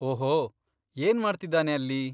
ಓಹೋ, ಏನ್ಮಾಡ್ತಿದಾನೆ ಅಲ್ಲಿ?